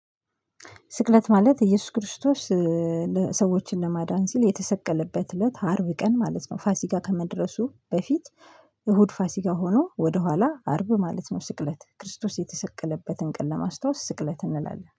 ስቅለት ማለት ኢየሱስ ክርስቶስ ለ ሰዎችን ለማዳን ሲል የተሰቀለበት እለት አርብ ቀን ማለት ነው። ፋሲካ ከመድረሱ በፊት እሁድ ፋሲካ ሆኖ ወደኋላ አርብ ማለት ነው። ስቅለት ክርስቶስ የተሰቀለበትን ቀን ለማስታወስ ስቅለት እንላለን